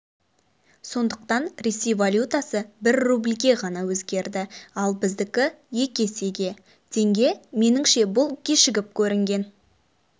сондықтан ресей валютасы бір рубльге ғана өзгерді ал біздікі екі есеге теңге меніңше бұл кешігіп көрінген